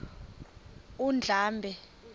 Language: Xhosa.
undlambe